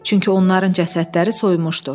Çünki onların cəsədləri soymuşdu.